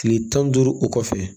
Kile tan ni duuru o kɔfɛ